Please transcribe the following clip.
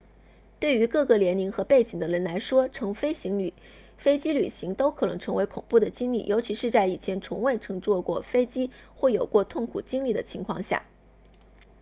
对于各个年龄和背景的人来说乘飞机旅行都可能成为恐怖的经历尤其是在以前从未乘坐过飞机或有过痛苦经历的情况下